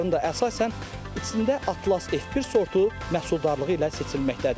Bunların da əsasən içində Atlas F1 sortu məhsuldarlığı ilə seçilməkdədir.